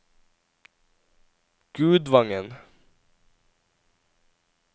Gudvangen